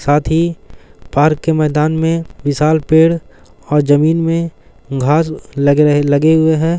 साथ ही पार्क के मैदान मैं विशाल पेड़ और जमीन में घास लगे हुए हैं।